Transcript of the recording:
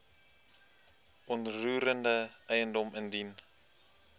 onroerende eiendom indien